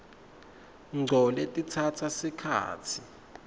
ngco letitsatsa sikhatsi